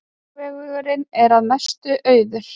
Hringvegurinn að mestu auður